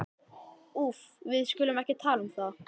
Úff, við skulum ekki tala um það.